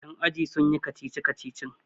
yan ajin sun yi kacici-kacicin!